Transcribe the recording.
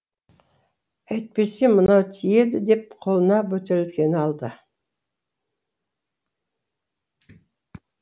әйтпесе мынау тиеді деп қолына бөтелкені алды